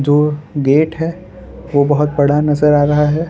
दो गेट है वो बहोत बड़ा नज़र आ रहा है।